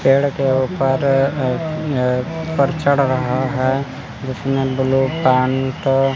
पेड़ के ऊपर अ अ उपर चढ़ रहा है इसमें ब्लू पैंट --